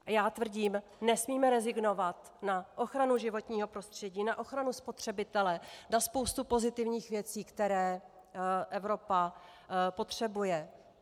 Já tvrdím, nesmíme rezignovat na ochranu životního prostředí, na ochranu spotřebitele, na spoustu pozitivních věcí, které Evropa potřebuje.